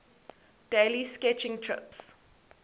daily sketching trips